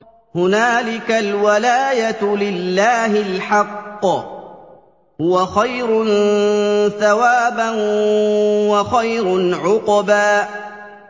هُنَالِكَ الْوَلَايَةُ لِلَّهِ الْحَقِّ ۚ هُوَ خَيْرٌ ثَوَابًا وَخَيْرٌ عُقْبًا